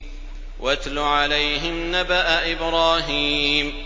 وَاتْلُ عَلَيْهِمْ نَبَأَ إِبْرَاهِيمَ